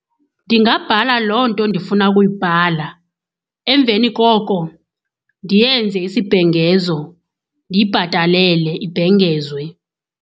Ndingabhala loo nto ndifuna ukuyibhala. Emveni koko ndiyenze isibhengezo, ndiyibhatalele ibhengezwe.